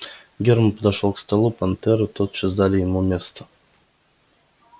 германн подошёл к столу понтёры тотчас дали ему место